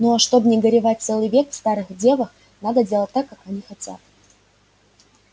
ну а чтоб не горевать целый век в старых девах надо делать так как они хотят